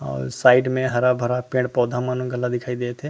और साइड में हरा-भरा पेड़-पौधा मन घला दिखाई देत हे।